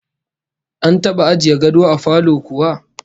An taba ajiye gado a falo kuwa?